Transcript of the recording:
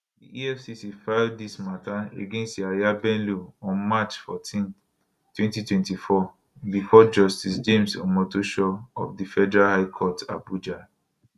di efcc file dis mata against yahaya bello on march 14 2024 bifor justice james omotosho of di federal high court abuja